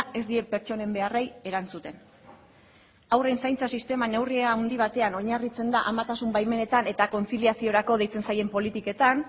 ez die pertsonen beharrei erantzuten haurren zaintza sistema neurri handi batean oinarritzen da amatasun baimenetan eta kontziliaziorako deitzen zaien politiketan